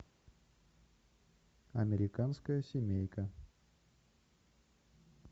американская семейка